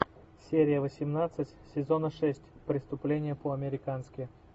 серия восемнадцать сезона шесть преступление по американски